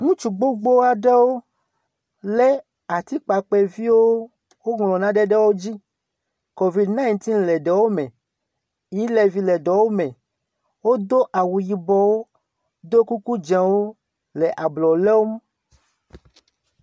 ŋutsu gbigbiaɖewo le atikpakpɛviwo wóŋlɔ naɖe ɖe wódzi civicɛɣ le ɖewóme elevy le ɖewome wodó awu yibɔwo ɖo kuku dzēwo le ablɔ lɔm